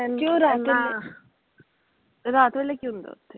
ਰਾਤ ਵੇਲੇ ਕੀ ਹੁੰਦਾ ਓਥੇ?